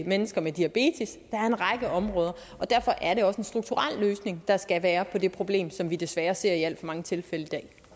mennesker med diabetes der er en række områder derfor er det også en strukturel løsning der skal være på det problem som vi desværre ser i alt for mange tilfælde